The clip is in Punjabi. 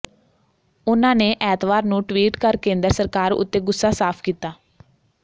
ਉਨ੍ਹਾਂ ਨੇ ਐਤਵਾਰ ਨੂੰ ਟਵੀਟ ਕਰ ਕੇਂਦਰ ਸਰਕਾਰ ਉੱਤੇ ਗੁੱਸਾ ਸਾਫ਼ ਕੀਤਾ